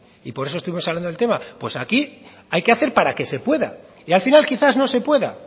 y por eso estuvimos hablando del tema pues aquí hay que hacer para que se pueda y al final quizás no se pueda